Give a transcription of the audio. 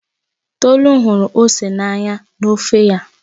Tolu hụrụ ose n'anya na ofe ya